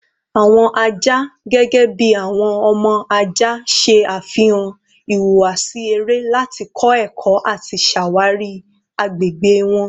Awọn aja, gẹgẹbi awọn ọmọ aja, ṣe afihan ihuwasi ere lati kọ ẹkọ ati ṣawari agbegbe wọn